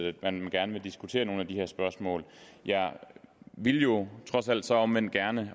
at man gerne vil diskutere nogle af de her spørgsmål jeg ville jo trods alt så omvendt gerne